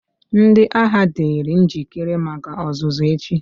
Ndị agha, dịrị njikere maka ọzụzụ echi!